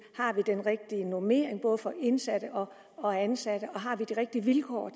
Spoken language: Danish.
har vi den rigtige normering både for indsatte og ansatte og har vi de rigtige vilkår